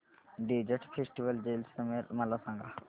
desert festival Jaisalmer मला सांग